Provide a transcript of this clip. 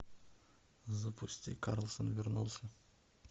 запусти карлсон вернулся